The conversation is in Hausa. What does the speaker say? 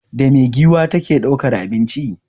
Da me giwa ta ke ɗaukan abinci?